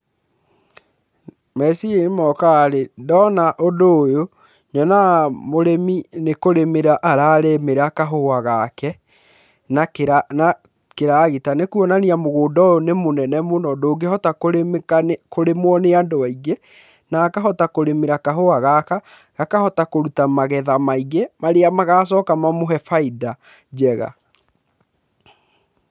Meciria mokaga ndona ũndũ ũyũ nyonaga mũrĩmi nĩ kũrĩmĩra ararĩmĩra kahũa gake na kĩragita nĩ kuonania mũgũnda ũyũ nĩ mũnene mũno ndũngĩhota kũrĩmwo nĩ andũ aingĩ na akahota kũrĩmĩra kahũa gaka akahota kũruta magetha maingĩ marĩa magacoka mamũhe baida njega.